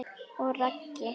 Og Raggi?